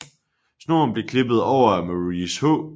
Snoren blev klippet over af Maurice H